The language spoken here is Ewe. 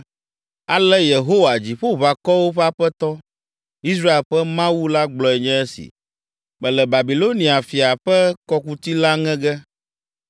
“Ale Yehowa, Dziƒoʋakɔwo ƒe Aƒetɔ, Israel ƒe Mawu la gblɔe nye esi: ‘Mele Babilonia fia ƒe kɔkuti la ŋe ge.